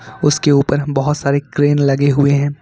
उसके ऊपर बहुत सारे क्रेन लगे हुए हैं।